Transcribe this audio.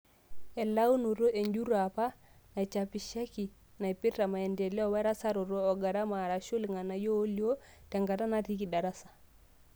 Elaunoto enjurro apa naichapishaki naipirta maendeleo werasaraoto, ogarama arashu irng'anayio oolio tenkata natiiki darasa.